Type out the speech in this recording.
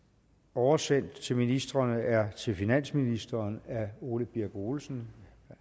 oversendt til ministrene er til finansministeren af herre ole birk olesen